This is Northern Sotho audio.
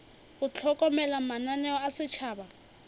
go hlokomela mananeo a setšhaba